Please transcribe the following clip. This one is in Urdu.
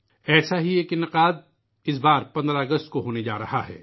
ایسا ہی ایک پروگرام اس مرتبہ 15 اگست کو ہونے والا ہے